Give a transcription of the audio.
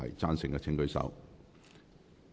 贊成的請舉手。